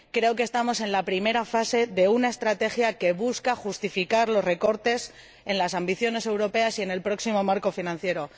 Creo que estamos en la primera fase de una estrategia que busca justificar los recortes en las ambiciones europeas y en el próximo marco financiero.